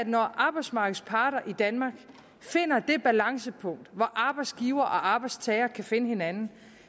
når arbejdsmarkedets parter i danmark finder det balancepunkt hvor arbejdsgivere og arbejdstagere kan finde hinanden